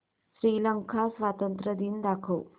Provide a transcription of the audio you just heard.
श्रीलंका स्वातंत्र्य दिन दाखव